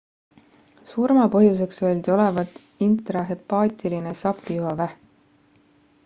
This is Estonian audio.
surmapõhjuseks öeldi olevat intrahepaatiline sapijuhavähk